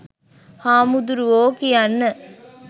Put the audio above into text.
හාමුදුරුවෝ කියන්න